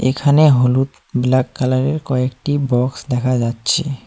এখানে হলুদ black colour -এর কয়েকটি বক্স দেখা যাচ্ছে।